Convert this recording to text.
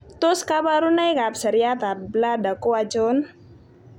Tos kabarunoik ab seriat ab bladder ko achon?